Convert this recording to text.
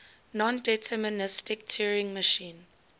nondeterministic turing machine